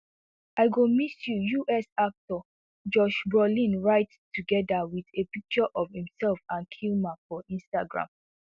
i go miss you us actor josh brolin write togeda wit a picture of imself and kilmer for instagram